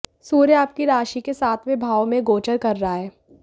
सूर्य आपकी राशि के सातंवे भाव में गोचर कर रहा है